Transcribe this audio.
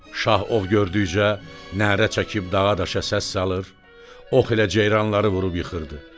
Şah ov gördükcə nərə çəkib dağa-daşa səs salır, ox ilə ceyranları vurub yıxırdı.